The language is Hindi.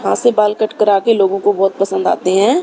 वहां से बाल कट करा के लोगों को बहुत पसंद आते हैं।